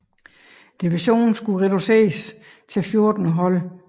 Divison skulle reduceres til 14 hold